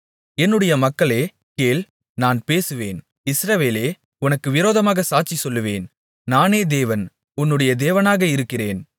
என்னுடைய மக்களே கேள் நான் பேசுவேன் இஸ்ரவேலே உனக்கு விரோதமாகச் சாட்சி சொல்லுவேன் நானே தேவன் உன்னுடைய தேவனாக இருக்கிறேன்